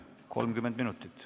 30 minutit.